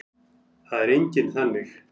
Það er enginn þannig.